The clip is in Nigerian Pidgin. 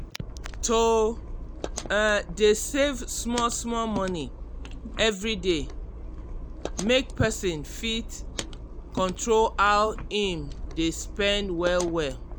to um dey save small-small money every day make person fit um control how im dey spend well-well